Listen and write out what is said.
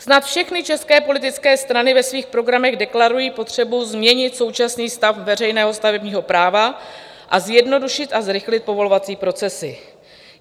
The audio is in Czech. Snad všechny české politické strany ve svých programech deklarují potřebu změnit současný stav veřejného stavebního práva a zjednodušit a zrychlit povolovací procesy.